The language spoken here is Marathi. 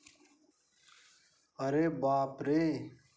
अरे बापरे!